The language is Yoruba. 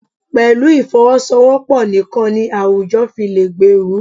Pẹ̀lú ìfọwọ́sowọ́pọ̀ nìkan ni àwùjọ fi lè gbèrú.